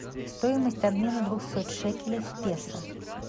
стоимость обмена двухсот шекелей в песо